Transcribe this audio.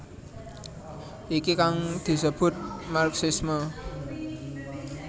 Iki kang disebut marxisme